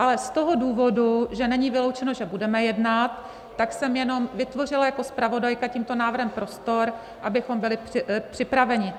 Ale z toho důvodu, že není vyloučeno, že budeme jednat, tak jsem jenom vytvořila jako zpravodajka tímto návrhem prostor, abychom byli připraveni.